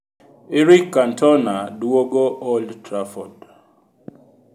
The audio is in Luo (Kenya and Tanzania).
Eric Cantona duogo Old Trafford.